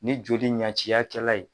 Ni joli ɲɛciyakɛla ye.